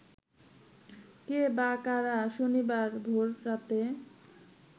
কে বা কারা শনিবার ভোররাতে